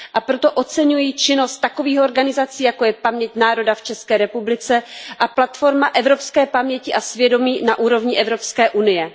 Proto oceňuji činnost takových organizací, jako je Paměť národa v České republice a Platforma evropské paměti a svědomí na úrovni Evropské unie.